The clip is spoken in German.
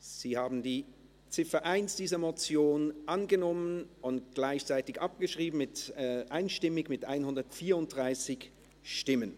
Sie haben die Ziffer 1 dieser Motion einstimmig angenommen und gleichzeitig abgeschrieben, mit 134 Ja- gegen 0 Nein-Stimmen bei 0 Enthaltungen.